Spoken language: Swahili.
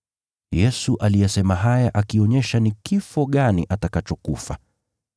Yesu aliyasema haya akionyesha ni kifo gani atakachokufa.